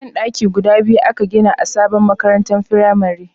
Ban daki guda biyu a ka gina a sabon makarantar firamare